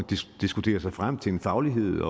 diskuterer sig frem til en faglighed